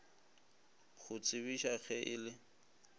go tsebiša ge e le